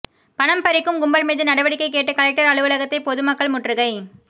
பணம் பறிக்கும் கும்பல் மீது நடவடிக்கை கேட்டு கலெக்டர் அலுவலகத்தை பொதுமக்கள் முற்றுகை